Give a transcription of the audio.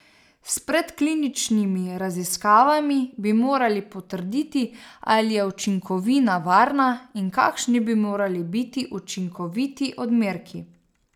S predkliničnimi raziskavami bi morali potrditi, ali je učinkovina varna in kakšni bi morali biti učinkoviti odmerki.